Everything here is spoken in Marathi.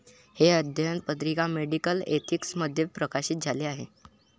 ' हे अध्ययन पत्रिका 'मेडिकल एथिक्स'मध्ये प्रकाशित झाले आहे.